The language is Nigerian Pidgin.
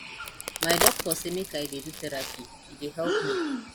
my doctor sey make i dey do therapy e dey help me